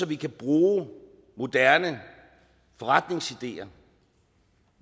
vi kan bruge moderne forretningsideer